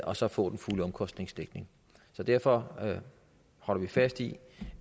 og så få den fulde omkostningsdækning derfor holder vi fast i